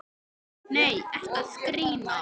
Nei, ertu að grínast?